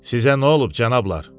Sizə nə olub, cənablar?